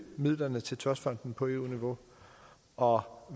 midlerne til trustfonden på eu niveau og